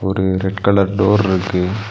ஒரு red colour டோர்ருக்கு .